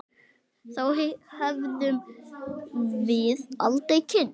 Þá hefðum við aldrei kynnst